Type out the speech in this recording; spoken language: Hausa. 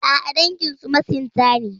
A'a, danginsu masinta ne.